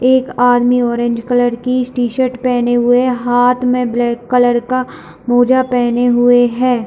एक आदमी orange colour की टी-शर्ट पहने हुए हाथ में ब्लैक कलर का मोजा पहने हुए है।